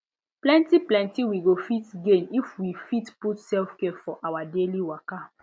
plenty plenty we go fit gain if we fit put selfcare for our daily waka